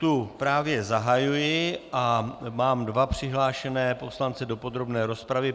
Tu právě zahajuji a mám dva přihlášené poslance do podrobné rozpravy.